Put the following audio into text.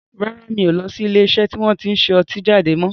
Rárá, mi ò lọ sí ilé iṣẹ́ tí wọn tin ṣe ọtí jáde mọ́